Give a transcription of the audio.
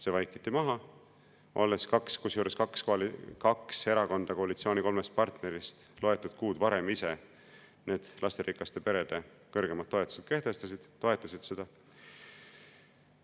See vaikiti maha, kusjuures kaks erakonda koalitsiooni kolmest partnerist vaid mõni kuu varem ise need lasterikaste perede kõrgemad toetused kehtestasid, toetasid seda.